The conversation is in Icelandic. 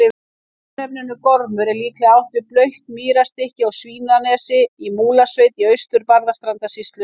Með örnefninu Gormur er líklega átt við blautt mýrarstykki á Svínanesi í Múlasveit í Austur-Barðastrandarsýslu.